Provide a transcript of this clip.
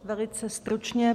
Velice stručně.